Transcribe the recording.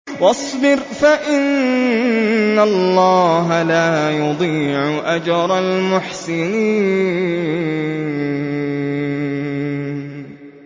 وَاصْبِرْ فَإِنَّ اللَّهَ لَا يُضِيعُ أَجْرَ الْمُحْسِنِينَ